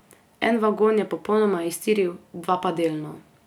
En vagon je popolnoma iztiril, dva pa delno.